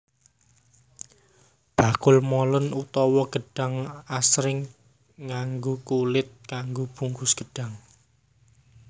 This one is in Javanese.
Bakul molen utawa gedhang asring nganggo kulit kanggo bungkus gedhang